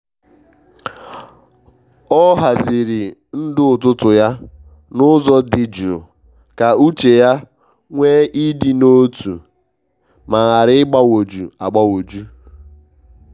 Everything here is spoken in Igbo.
o haziri ndụ ụtụtụ ya n’ụzọ di jụụ ka uche ya nwee ị dị n’otu ma ghara ịgbanwoju agbanwoju.